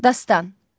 Dastan.